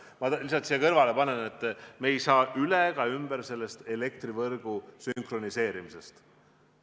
Ma lihtsalt ütlen siia kõrvale, et me ei saa üle ega ümber ka elektrivõrgu sünkroniseerimisest.